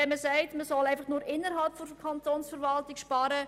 Man kann schon den Willen äussern, innerhalb der Kantonsverwaltung zu sparen.